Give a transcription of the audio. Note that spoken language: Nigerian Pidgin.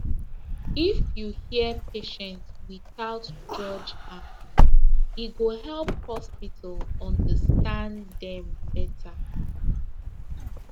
if you hear patient without judge am e go help hospital understand dem better